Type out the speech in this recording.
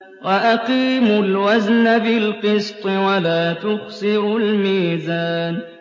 وَأَقِيمُوا الْوَزْنَ بِالْقِسْطِ وَلَا تُخْسِرُوا الْمِيزَانَ